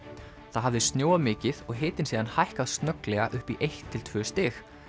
það hafði snjóað mikið og hitinn síðan hækkað snögglega upp í eitt til tvö stig